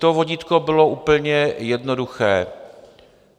To vodítko bylo úplně jednoduché.